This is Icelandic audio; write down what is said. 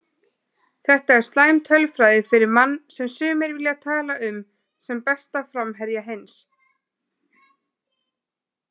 Þetta er slæm tölfræði fyrir mann sem sumir vilja tala um sem besta framherja heims.